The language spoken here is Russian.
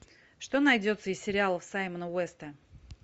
что найдется из сериалов саймона уэста